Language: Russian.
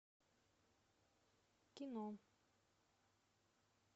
кино